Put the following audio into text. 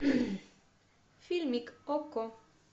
фильмик окко